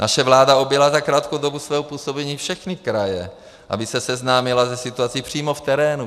Naše vláda objela za krátkou dobu svého působení všechny kraje, aby se seznámila se situací přímo v terénu.